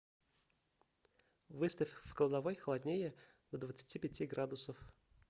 выставь в кладовой холоднее до двадцати пяти градусов